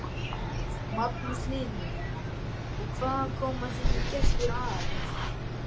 Magnús Hlynur: Og hvaðan koma þínir gestir aðallega?